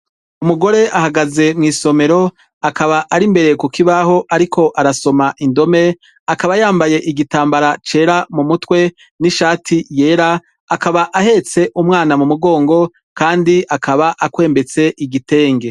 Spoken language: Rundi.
Umugore ari mwisomero akaba ari imbere ahagaze ariko arasoma indome akaba yambaye igitambara mumutwe n'ishati yera akaba ahetse umwana mumugongo kandi akaba akwembetse igitenge.